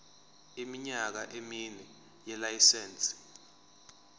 iminyaka emine yelayisense